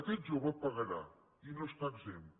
aquest jove pagarà i no n’està exempt